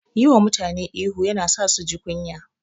Yi wa mutane ihu yana sa su ji kunya.